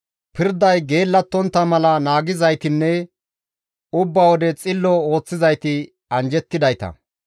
Pirday geellattontta mala naagizaytinne ubba wode xillo ooththizayti anjjettidayta.